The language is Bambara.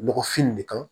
Nɔgɔfin nin de kan